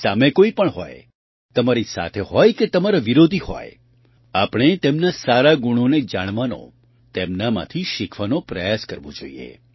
સામે કોઈ પણ હોય તમારી સાથે હોય કે તમારા વિરોધી હોય આપણે તેમના સારા ગુણોને જાણવાનો તેમનામાંથી શીખવાનો પ્રયાસ કરવો જોઈએ